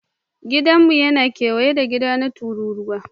Gidanmu yana kewaye da gida na tururuwa